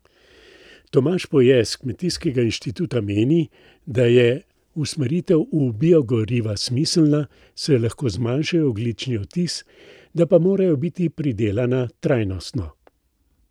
Tomaž Poje s Kmetijskega inštituta meni, da je usmeritev v biogoriva smiselna, saj lahko zmanjšajo ogljični odtis, da pa morajo biti pridelana trajnostno.